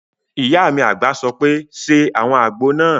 Ìyá mi àgbà sọ pé "ṣe àwọn àgbo náà!"